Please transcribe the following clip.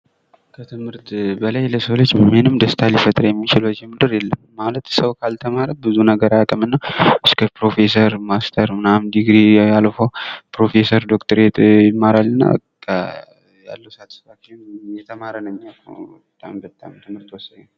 ከትምህርት በላይ ምንም ለሰው ልጅ ደስት የሚፈጥር ነገር የለም ማለት ሰው ካልተማረ ብዙ ነገር አያቅም እና